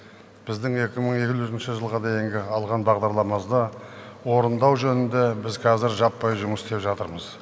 біздің екі мың елуінші жылға дейінгі алған бағдарламазды орындау жөнінде біз қазір жаппай жұмыс істеп жатырмыз